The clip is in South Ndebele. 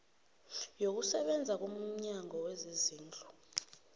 yokusebenza komnyango wezezindlu